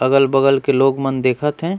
अगल-बगल के मन लोग देखत हे।